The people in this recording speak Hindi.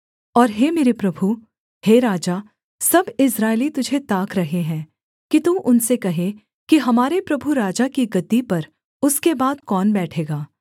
और हे मेरे प्रभु हे राजा सब इस्राएली तुझे ताक रहे हैं कि तू उनसे कहे कि हमारे प्रभु राजा की गद्दी पर उसके बाद कौन बैठेगा